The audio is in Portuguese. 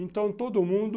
Então todo mundo...